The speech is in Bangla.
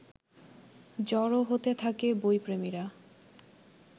জড়ো হতে থাকে বইপ্রেমীরা